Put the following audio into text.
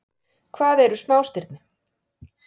Hvað eru smástirni?